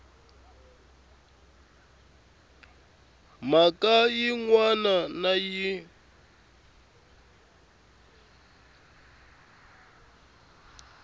mhaka yin wana na yin